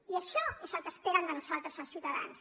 i això és el que esperen de nosaltres els ciutadans